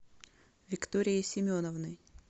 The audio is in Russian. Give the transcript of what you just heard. викторией семеновной